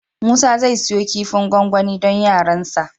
Musa zai siyo kifin gwangwani don yaransa.